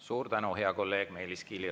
Suur tänu, hea kolleeg Meelis Kiili!